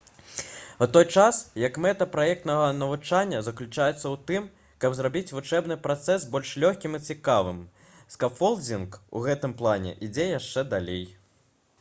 у той час як мэта праектнага навучання заключаецца ў тым каб зрабіць вучэбны працэс больш лёгкім і цікавым скафолдзінг у гэтым плане ідзе яшчэ далей